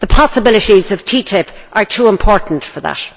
The possibilities of TTIP are too important for that.